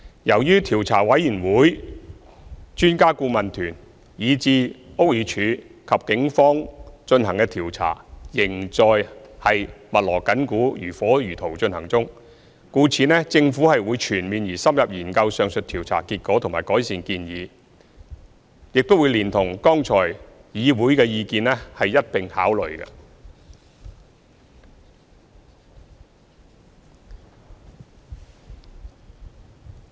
由於調查委員會、專家顧問團、以至屋宇署和警方進行的調查，仍在密鑼緊鼓、如火如荼進行中，故此政府會全面和深入研究上述調查結果和改善建議，亦會連同議會的意見一併考慮。